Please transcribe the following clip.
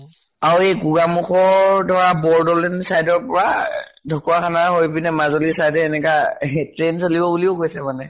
আৰু এই গোগামুখৰ ধৰা বৰ্দলিন side ৰ পৰা আহ ঢ্কুৱাখানা হৈ পিনে মাজুলী side এ এনেকা train চলিব বুলিও কৈছে মানে।